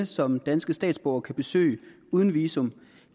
som danske statsborgere kan besøge uden visum